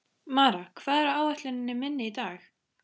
Mara, hvað er á áætluninni minni í dag?